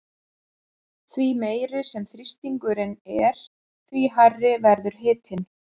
Því meiri sem þrýstingurinn er því hærri verður hitinn.